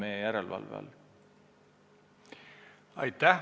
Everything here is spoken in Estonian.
Aitäh!